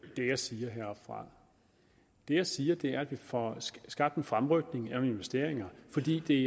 det jeg siger herfra det jeg siger er at vi får skabt en fremrykning af nogle investeringer fordi det